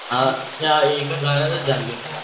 एका घरातच झले